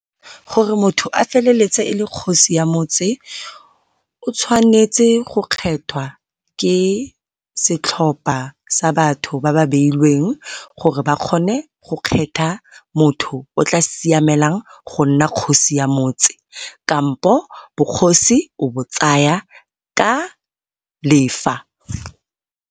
Gore motho a feleletse e le kgosi ya motse o tshwanetse go kgethwa ke setlhopha sa batho ba ba beilweng gore ba kgone go kgetha motho o tla siamelang go nna kgosi ya motse, kampo bogosi o bo tsaya ka lefa.